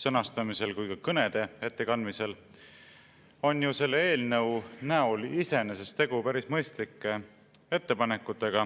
sõnastamisel ja ka kõnede ettekandmisel juba korduvalt kõlanud, on selles eelnõus ju iseenesest päris mõistlikud ettepanekud.